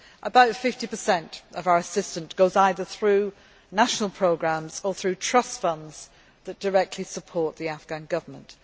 About 50 of our assistance goes either through national programmes or through trust funds that directly support the Afghan Government.